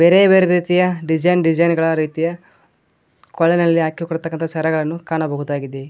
ಬೇರೆ ಬೇರೆ ರೀತಿಯ ಡಿಸೈನ್ ಡಿಸೈನ್ ಗಳ ರೀತಿಯ ಕೊಳಲಲ್ಲಿ ಹಾಕಿಕೋಳ್ಳತಕ್ಕಂತ ಸರಗಳನು ಕಾಣಬಹುದಾಗಿದೆ.